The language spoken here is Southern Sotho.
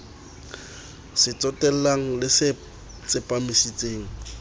se tsotellang le se tsepamisitseng